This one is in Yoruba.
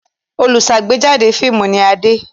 Olùṣàgbéjáde fíímù ni Adé.